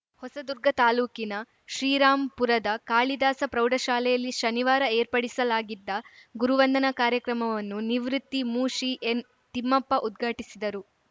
ಹೊಸದುರ್ಗ ತಾಲೂಕಿನ ಶ್ರೀರಾಂಪುರದ ಕಾಳಿದಾಸ ಪ್ರೌಡಶಾಲೆಯಲ್ಲಿ ಶನಿವಾರ ಏರ್ಪಡಿಸಲಾಗಿದ್ದ ಗುರುವಂದನಾ ಕಾರ್ಯಕ್ರಮವನ್ನು ನಿವೃತ್ತ ಮುಶಿ ಎನ್‌ತಿಮ್ಮಪ್ಪ ಉದ್ಘಾಟಿಸಿದರು